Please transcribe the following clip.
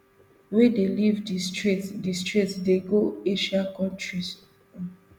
wey dey leave di strait di strait dey go asian kontris um